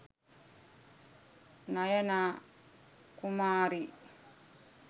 nayana kumari